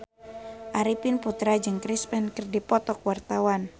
Arifin Putra jeung Chris Pane keur dipoto ku wartawan